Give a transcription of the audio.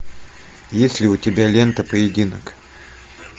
есть ли у тебя лента поединок